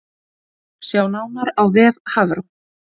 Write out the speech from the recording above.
Sjá nánar á vef Hafró